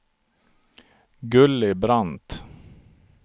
Gulli Brandt